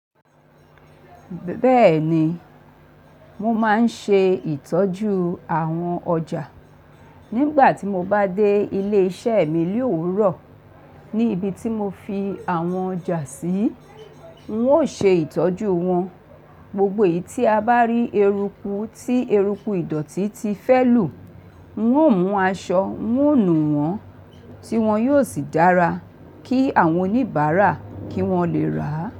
Bẹ́ẹ̀ni, mo máa ń ṣe ìtọ́jú àwọn ọjà. Nígbà tí mo bá dé ilé-iṣẹ́ mi li ówuro, ní ibi tí mo fi àwọn ọjà sí, ń ó ṣe ìtọ́jú wọn. Gbogbo èyí tí a bá rí eruku tí eruku ìdọ̀tí ti fẹ́ lù, ń ó mú aṣọ ń ó nù wọ́n, tí wọ́n yóò sì dára kí àwọn oníbàárà kí wọ́n lè rà á.